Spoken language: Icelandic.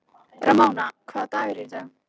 Ramóna, hvaða dagur er í dag?